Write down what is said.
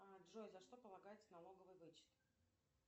а джой за что полагается налоговый вычет